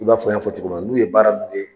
I b'a fɔ n y'a fɔ cogo min na n'u ye baara mun